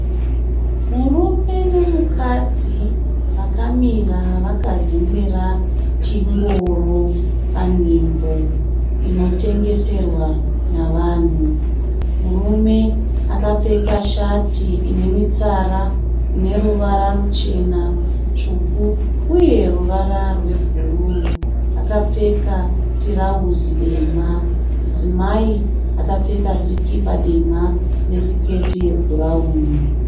Murume nomukadzi vakamira vakazembera chingoro panzvimbo inotengeserwa navanhu. Murume akapfeka shati ine mitsara ine ruvara ruchena, tsvuku uye ruvara rwebhuruu. Akapfeka tirauzi dema. Mudzimai akapfeka sikipa dema nesiketi yebhurawuni.